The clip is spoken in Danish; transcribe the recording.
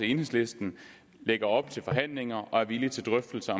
enhedslisten lægger op til forhandlinger og er villige til drøftelser